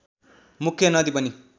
मुख्य नदी पनि